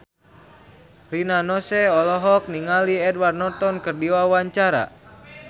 Rina Nose olohok ningali Edward Norton keur diwawancara